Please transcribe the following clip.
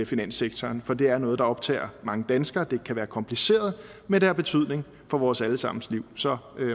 finanssektoren for det er noget der optager mange danskere det kan være kompliceret men det har betydning for vores alle sammens liv så